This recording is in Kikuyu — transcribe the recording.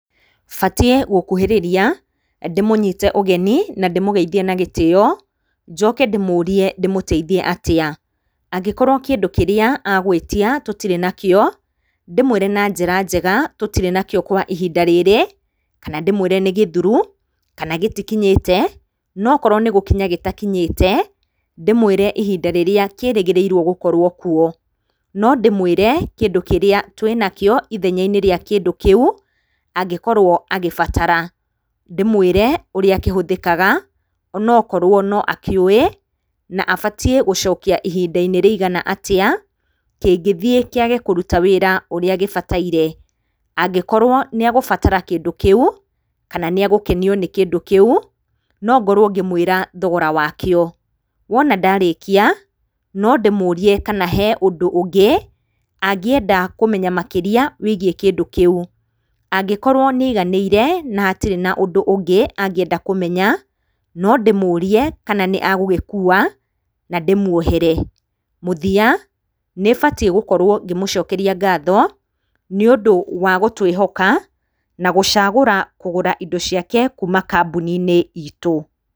Batiĩ gũkuhĩrĩria, ndĩmũnyite ũgeni, na ndĩmũgeithie na gĩtĩyo, njoke ndĩmũrie ndĩmũteithia atĩa, angĩkorwo kĩndũ kĩrĩa agũĩtia tũtirĩ nakĩo, ndĩmũĩre na njĩra njega, tũtirĩ nakĩo kwa ihinda rĩrĩ, kana ndĩmwĩre nĩ gĩthuru, kana gĩtikinyĩte, nokoro nĩ gũkinya gĩtakinyĩte, ndĩmwĩre ihinda rĩrĩa kĩrĩgĩrĩirwo gũkorwo kuo, no ndĩmwĩre kĩndũ kĩrĩa twĩnakĩo ithenya-inĩ rĩa kĩndũ kĩu, angĩkorwo agĩbatara, ndĩmwĩre ũrĩa kĩhũthĩkaga, onokorwo noakĩũĩ, na abatiĩ gũcokia ihinda-inĩ rĩigana atĩa, ngĩngithiĩ kĩage kũruta wĩra ũrĩa gĩbataire, angĩkorwo nĩegubatara kĩndũ kĩu, kana nĩ egũkenio nĩ kĩndũ kĩu, nongorwo ngĩmwĩra thogora wakĩo, wona ndarĩkia, no ndĩmũrie kana he ũndũ ũngĩ, angĩenda kũmenya makĩria, wĩgiĩ kĩndũ kĩu, angĩkorwo nĩ aiganĩire, na hatirĩ na ũndũ ũngĩ, angĩenda kũmenya, no ndĩmũrie kana nĩ egũgĩkuwa na ndĩmwohere, mũthiya nĩbatiĩ gũkorwo ngĩmũcokeria ngatho, nĩũndũ wa gũtwĩhoka, na gũcagũra kũgũra indo ciake, kuuma kambuni-inĩ itũ.